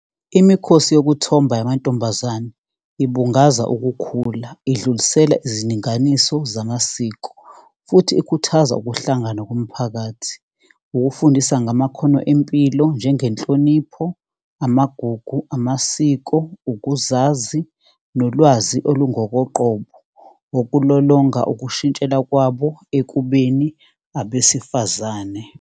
Imikhosi yokuthomba yamantombazane ibungaza ukukhula. Idlulisela izindinganiso zamasiko, futhi ikhuthaza ukuhlangana komphakathi, ukufundisa ngamakhono empilo, njengenhlonipho, amagugu, amasiko, ukuzazi, nolwazi olungokoqobo ngokulolonga ukushintshela kwabo ekubeni abesifazane.